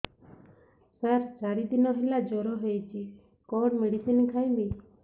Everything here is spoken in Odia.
ସାର ଚାରି ଦିନ ହେଲା ଜ୍ଵର ହେଇଚି କଣ ମେଡିସିନ ଖାଇବି